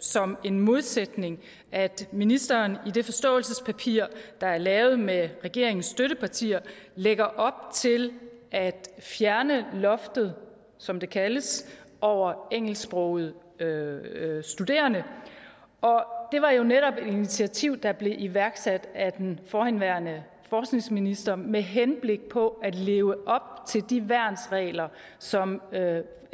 som en modsætning at ministeren i det forståelsespapir der er lavet med regeringens støttepartier lægger op til at fjerne loftet som det kaldes over engelsksprogede studerende det var jo netop et initiativ der blev iværksat af den forhenværende forskningsminister med henblik på at leve op til de værnsregler som